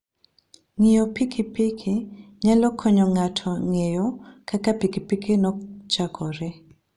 Ng'iyo pikipiki nyalo konyo ng'ato ng'eyo kaka pikipiki nochakore.